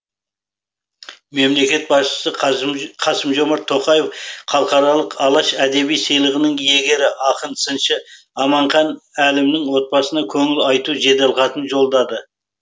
мемлекет басшысы қасым жомарт тоқаев халықаралық алаш әдеби сыйлығының иегері ақын сыншы аманхан әлімнің отбасына көңіл айту жеделхатын жолдады